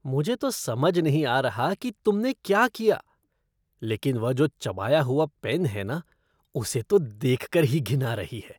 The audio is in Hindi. मुझे तो समझ नहीं आ रहा कि तुमने क्या किया। लेकिन वह जो चबाया हुआ पेन है ना, उसे तो देखकर ही घिन आ रही है!